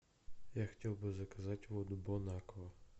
я хотел бы заказать воду бонаква